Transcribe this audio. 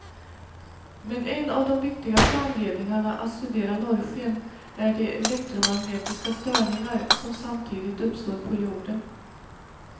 Men en av de viktigaste anledningarna att studera norrsken är de elektromagnetiska störningar som samtidigt uppstår på jorden.